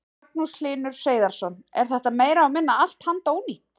Magnús Hlynur Hreiðarsson: Er þetta meira og minna allt handónýtt?